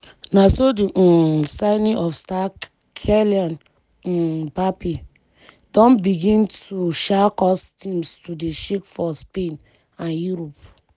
na so di um signing of french star kylian um mbappe don begin to um cause teams to dey shake for spain and europe.